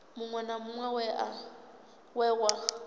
muṅwe na muṅwe we wa